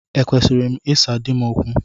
Ekwesịrị m ịsa di m okwu?